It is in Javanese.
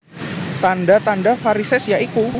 Tandha tandha varisès ya iku